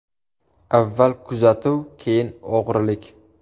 Avval kuzatuv, keyin o‘g‘rilik.